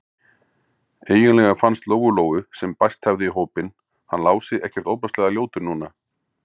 Eiginlega fannst Lóu-Lóu, sem bæst hafði í hópinn, hann Lási ekkert ofboðslega ljótur núna.